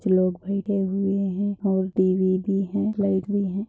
कुछ लोग बैठे हुए हैं और टीवी भी है लाइट भी है।